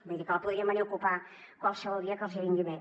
vull dir que la podrien venir a ocupar qualsevol dia que els hi vingui bé